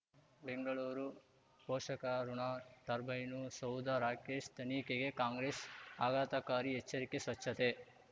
ಬೆಂಗಳೂರು ಪೋಷಕರಋಣ ಟರ್ಬೈನು ಸೌಧ ರಾಕೇಶ್ ತನಿಖೆಗೆ ಕಾಂಗ್ರೆಸ್ ಆಘಾತಕಾರಿ ಎಚ್ಚರಿಕೆ ಸ್ವಚ್ಛತೆ